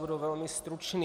Budu velmi stručný.